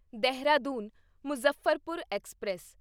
Dehradun Muzaffarpur express